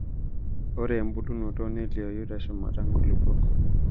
Ore embulunoto nelioyu teshumata nkulupuok.